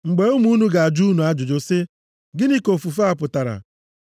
Mgbe ụmụ unu ga-ajụ unu ajụjụ sị, ‘Gịnị ka ofufe a pụtara?’